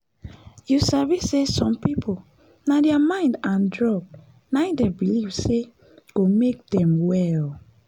you sabi say some people na thier mind and drugs na him them believe say go make them well.